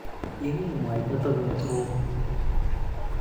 Iil mwaita toket ng'ung'.